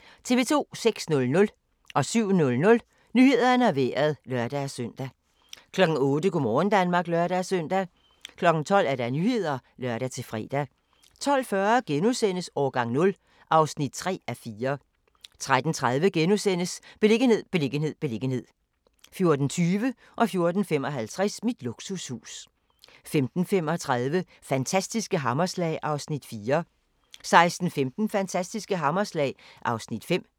06:00: Nyhederne og Vejret (lør-søn) 07:00: Nyhederne og Vejret (lør-søn) 08:00: Go' morgen Danmark (lør-søn) 12:00: Nyhederne (lør-fre) 12:40: Årgang 0 (3:4)* 13:30: Beliggenhed, beliggenhed, beliggenhed * 14:20: Mit luksushus 14:55: Mit luksushus 15:35: Fantastiske hammerslag (Afs. 4) 16:15: Fantastiske hammerslag (Afs. 5)